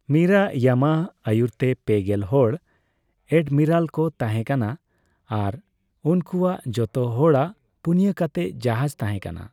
ᱢᱤᱨᱟ ᱤᱭᱟᱢᱟᱜ ᱟᱭᱩᱨᱛᱮᱯᱮᱜᱮᱞ ᱦᱚᱲ ᱟᱰᱢᱤᱨᱟᱞ ᱠᱚ ᱛᱟᱦᱮ ᱠᱟᱱᱟ ᱟᱨ ᱩᱱᱠᱩᱭᱟᱜ ᱡᱚᱛᱚ ᱦᱚᱲᱟᱜ ᱯᱩᱱᱭᱟᱹ ᱠᱟᱛᱮ ᱡᱟᱦᱟᱡ ᱛᱟᱸᱦᱮ ᱠᱟᱱᱟ ᱾